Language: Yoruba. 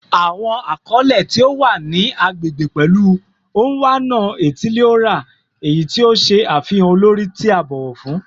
Awọn akọle ti o wa ni agbegbe pẹlu "Onwa-na-etili-ora," eyi ti o ṣe afihan olori ti a bọwọ fun